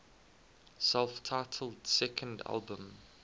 self titled second album